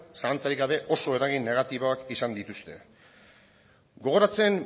zalantzarik gabe oso eragin negatiboak izan dituzte gogoratzen